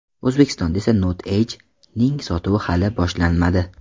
O‘zbekistonda esa Note Edge’ning sotuvi hali boshlanmadi.